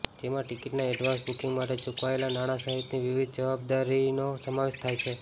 જેમાં ટિકિટના advance booking માટે ચૂકવાયેલાં નાણાં સહિતની વિવિધ જવાબદારીનો સમાવેશ થાય છે